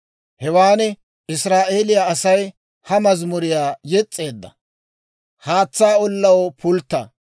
Hewaan Israa'eeliyaa Asay ha mazimuriyaa yes's'eedda. «Haatsaa ollaw, pultta!